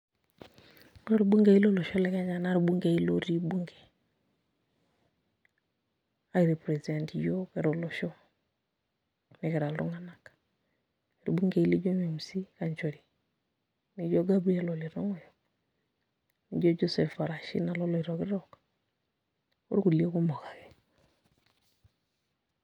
Ore irbunkei lolosho le Kenya na irbunkei lotii bunge, ai represent iyiok kira olosho nikira iltung'anak. Irbunkei lijo Memusi Kanchori, lijo Gabriel Ole Tong'oyo, lijo Joseph Parashina loloitokitok, orkulie kumok ake.